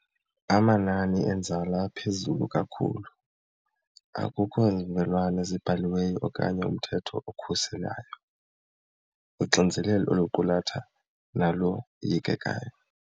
Amanani enzala aphezulu kakhulu, akukho zivumelwano ezibhaliweyo okanye umthetho okhuselayo, uxinizelelo oluqulatha naloyikekayo.